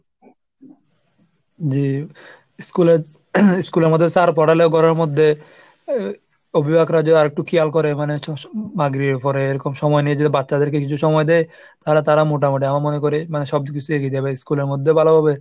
জি school এ school এ আমাদের sir পড়ালে ঘরের মধ্যে অভিভাবকরা যদি আরেকটু খেয়াল করে মানে মাগরির উপরে এরকম সময় নেই. যদি বাচ্চাদেরকে কিছু সময় দেয়। তাহলে তারা মোটামুটি আমার মনে করে মানে সবকিছু শিখিয়ে দেবে school এর মধ্যে ভালো হবে।